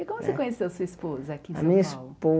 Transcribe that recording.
E como eh você conheceu a sua esposa aqui a em minha São Paulo?